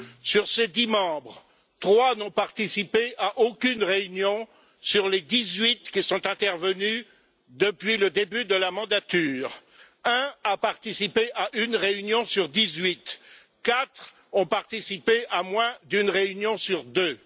Sur ces dix membres, trois n'ont participé à aucune réunion sur les dix huit qui se sont tenues depuis le début de la mandature, un a participé à une réunion sur dix huit, et quatre ont participé à moins d'une réunion sur deux.